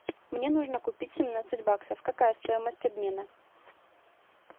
мне нужно купить семнадцать баксов какая стоимость обмена